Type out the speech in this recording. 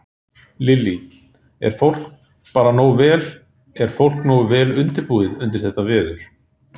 Lillý: Er fólk bara nógu vel, er fólk nógu vel undirbúið undir þetta veður?